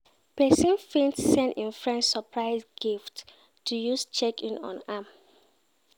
Persin fit send im friend surprise gift to use check in on am